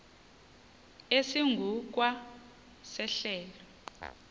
esingu kwa sehlelo